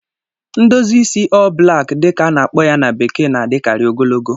Ndozi isi "all back" dị ka a na-akpọ ya na bekee na-adịkarị ogologo